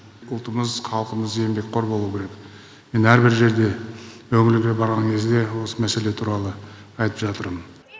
ұлтымыз халқымыз еңбекқор болу керек мен әр бір жерде өңірге барған кезде осы мәселе туралы айтып жатырмын